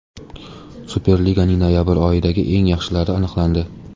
Superliganing noyabr oyidagi eng yaxshilari aniqlandi.